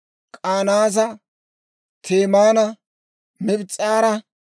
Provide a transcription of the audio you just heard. K'anaaza, Temaana, Mibs's'aara,